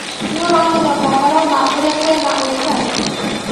Nĩũronire mohoro ma ũrĩa kwĩna ũrugarĩ?